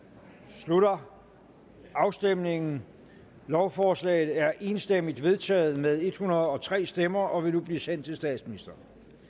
slutter afstemningen lovforslaget er enstemmigt vedtaget med en hundrede og tre stemmer og vil nu blive sendt til statsministeren